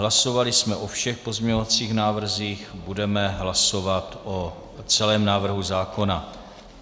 Hlasovali jsme o všech pozměňovacích návrzích, budeme hlasovat o celém návrhu zákona.